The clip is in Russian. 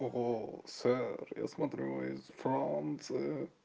ого сэр я смотрю вы из франции